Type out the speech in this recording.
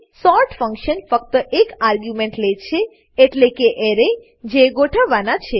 sort function ફક્ત એક argument લે છે એટલેકે એરે જે ગોઠવવાના છે